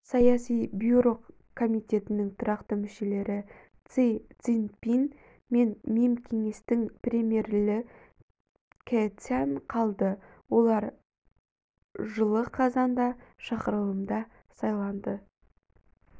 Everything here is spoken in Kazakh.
саяси бюро комитетінің тұрақты мүшелеріси цзиньпин мен мемкеңестің премьеріли кэцян қалды олар жылы қазанда шақырылымда сайланды